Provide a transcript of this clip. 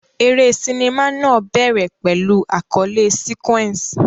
Eré sinimá náà bẹ̀rẹ̀ pẹ̀lú àkọlé sequence.